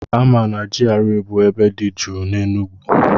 A ma na GRA bụ ebe dị jụụ n'Enugwu